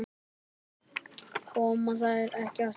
Koma þær ekki aftur?